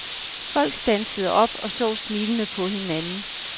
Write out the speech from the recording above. Folk standsede op og så smilende på hinanden.